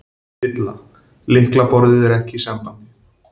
VILLA: Lyklaborðið er ekki í sambandi.